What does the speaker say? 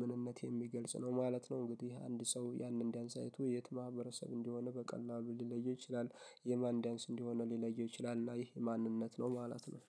ምንነት የሚገልጽ ነው ማለት ነው እንግዲህ አንድ ሰው ያንን ዳንስ አይቶ የት ማህበረሰብ እንደሆነ በቀላሉ ሊለየው ይችላል የማን ዳንስ እንዲሆነ ሊለየው ይችላል እና ይሄ ማንነት ነው ማለት ነው።